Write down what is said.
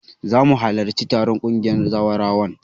Zamu halarci taron ƙungiyar zawarawan